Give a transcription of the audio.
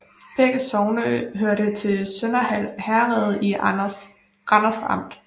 Begge sogne hørte til Sønderhald Herred i Randers Amt